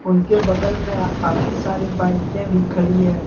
उनके बगल में काफी सारे बाइके भी खड़ी है।